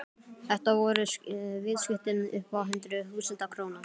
Þetta voru viðskipti upp á hundruð þúsunda króna.